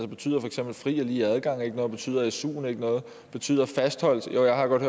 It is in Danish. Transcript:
betyder for eksempel fri og lige adgang ikke noget betyder suen ikke noget betyder fastholdelse jo jeg har godt